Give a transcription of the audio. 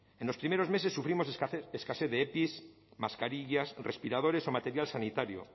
en los primeros meses sufrimos escasez de epi mascarillas respiradores o material sanitario